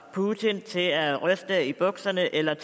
putin til at ryste i bukserne eller